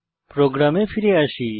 প্রোগ্রামে ফিরে আসি